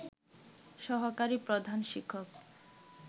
সহকারি প্রধান শিক্ষক